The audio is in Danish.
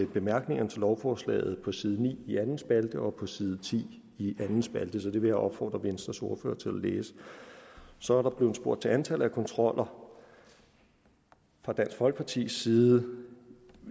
bemærkningerne til lovforslaget på side ni i anden spalte og på side ti i anden spalte så det vil jeg opfordre venstres ordfører til at læse så er der blevet spurgt til antallet af kontroller fra dansk folkepartis side